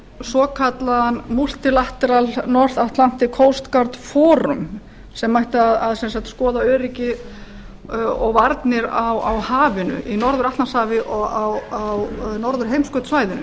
svokallaðan milli north atlantic coast gert forum sem ætti sem sagt að skoða öryggi og varnir á hafinu í norður atlantshafi og við norðurheimskautssvæðinu